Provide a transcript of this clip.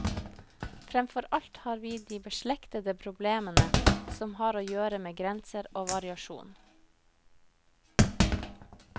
Fremfor alt har vi de beslektede problemene som har å gjøre med grenser og variasjon.